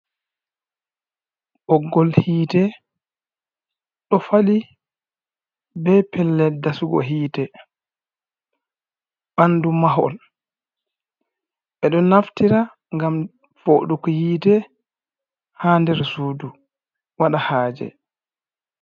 Ɓoggol hiite ɗo fali be pellel dasugo hiite bandu mahol ,ɓe ɗo naftira ngam fooɗugo hiite ha nder suudu waɗa haaje.